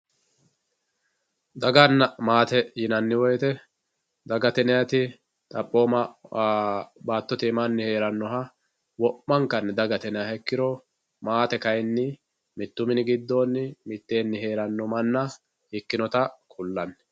daganna maate yinanni woyiite dagate yinayiiti xaphooma manna baattote iima heerannoha wo'mankanni dagate yinayiiha ikkanna maate kayeenni mittu mini giddo heeranno mannaati